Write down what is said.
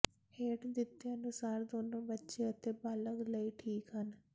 ਹੇਠ ਦਿੱਤੇ ਅਨੁਸਾਰ ਦੋਨੋ ਬੱਚੇ ਅਤੇ ਬਾਲਗ ਲਈ ਠੀਕ ਹਨ